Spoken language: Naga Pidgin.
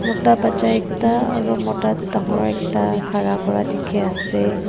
ekta bacha ekta aro mota dangor ekta khara Kura dikhiase.